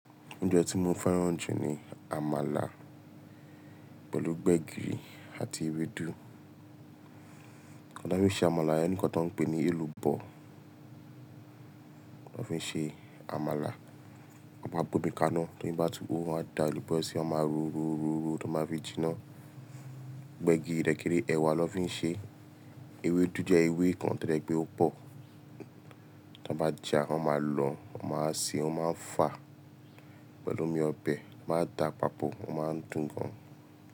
Oúnjẹ tí mo fẹ́ràn jù ni àmàlà pẹ̀lú gbẹ̀gìrì àti ewédú. Wọ́n fi ṣe àmàlà, ẹ̀ nìkan tó ń pè ní èlùbọ́. Wọ́n fi ṣe àmàlà, wọ́n máa bómi kaná, tó mi bá tú ọ̀, wọ́n á da èlùbọ́ sí i, wọ́n máa ró ró ró ró, tó máa fi jinná. Gbẹ̀gìrì rẹ́kẹ́rẹ́ ẹwà ló fi ń ṣe. Ewédú jẹ́ ewé kan tó jẹ pẹ́, ó pò. Tí wọ́n bá jẹá, wọ́n máa lọ̀, wọ́n máa ṣe, wọ́n máa fà pẹ̀lú omi ọbẹ̀, wọ́n máa da papọ̀, o máa ń dùn gan.